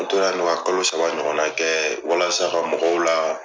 N tora ka kalo saba ɲɔgɔn na kɛ walasa ka mɔgɔw la